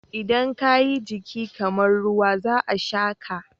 Idan ka yi jiki kamar ruwa, za a sha ka.